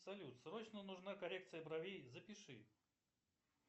салют срочно нужна коррекция бровей запиши